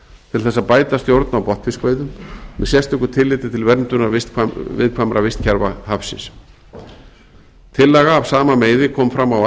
til þess að bæta stjórn á botnfiskveiðum með sérstöku tilliti til verndunar viðkvæmra vistkerfa hafsins tillaga af sama meiði kom fram á